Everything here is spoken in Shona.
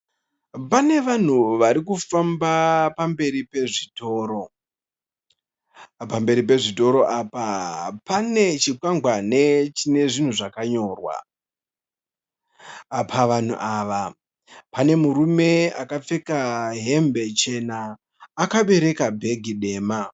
Pane vanhu varikufamba pamberi pezvitoro. Pamberi pezvitoro apa pane chikwangwani chinezvinhu zvakanyorwa. Pavanhu ava pane murume akapfeka hembe chena akabereka bhegi dema.